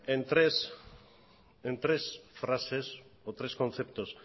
en tres frases o en tres conceptos